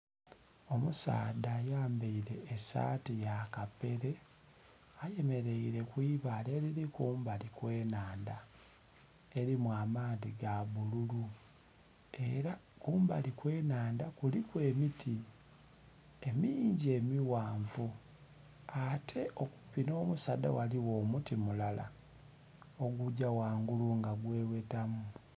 Omusaadha ayambaile esaati ya kapere ayemeleire ku ibaale eliri kumbali kw'ennhandha elimu amaadhi ga bbululu, ela kumbali kw'ennhandha kuliku emiti emingi emighanvu, ate okumpi n'omusaadha ghaligho omuti mulala ogugya wangulu nga gwewetamu.